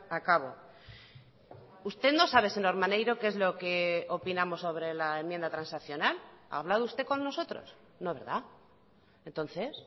a cabo usted no sabe señor maneiro qué es lo que opinamos sobre la enmienda transaccional ha hablado usted con nosotros no verdad entonces